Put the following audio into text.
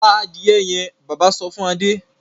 pa adìrẹ yẹn! bàbá sọ fún Adé.